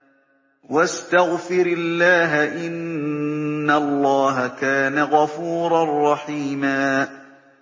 وَاسْتَغْفِرِ اللَّهَ ۖ إِنَّ اللَّهَ كَانَ غَفُورًا رَّحِيمًا